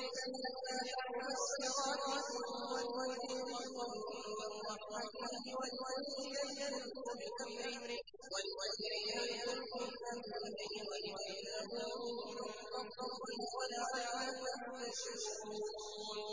الرِّيَاحَ مُبَشِّرَاتٍ وَلِيُذِيقَكُم مِّن رَّحْمَتِهِ وَلِتَجْرِيَ الْفُلْكُ بِأَمْرِهِ وَلِتَبْتَغُوا مِن فَضْلِهِ وَلَعَلَّكُمْ تَشْكُرُونَ